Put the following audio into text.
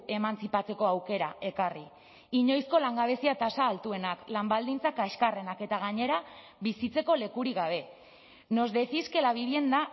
emantzipatzeko aukera ekarri inoizko langabezia tasa altuenak lan baldintzak kaxkarrenak eta gainera bizitzeko lekurik gabe nos decís que la vivienda